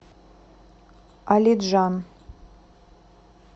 алиджан